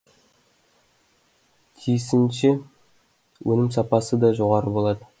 тиісінше өнім сапасы да жоғары болады